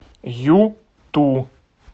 юту